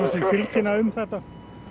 sem tilkynntu um þetta